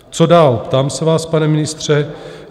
Co dál, ptám se vás, pane ministře?